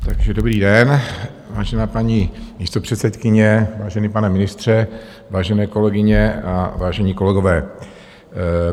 Takže dobrý den, vážená paní místopředsedkyně, vážený pane ministře, vážené kolegyně a vážení kolegové.